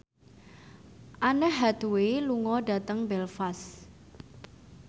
Anne Hathaway lunga dhateng Belfast